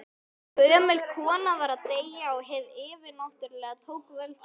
Gömul kona var að deyja og hið yfirnáttúrlega tók völdin.